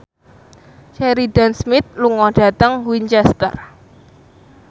Sheridan Smith lunga dhateng Winchester